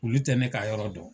Olu tɛ ne ka yɔrɔ dɔn.